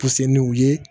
Puse n' u ye